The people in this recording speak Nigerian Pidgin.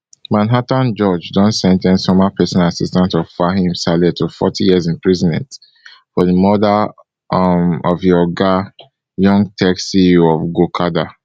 manhattan judge don sen ten ce former personal assistant of fahim saleh to forty years imprisonment for di murder um of im oga young tech ceo of gokada